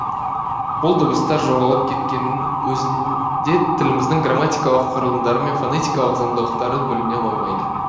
бұл дыбыстар жоғалып кеткеннің өзінде тіліміздің грамматикалық құрылымдары мен фонетикалық заңдылықтары бүліне қоймайды